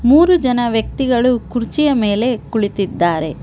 ಮೂರು ಜನ ವ್ಯಕ್ತಿಗಳು ಕುರ್ಚಿಯ ಮೇಲೆ ಕುಳಿತಿದ್ದಾರೆ.